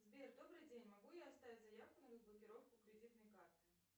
сбер добрый день могу я оставить заявку на разблокировку кредитной карты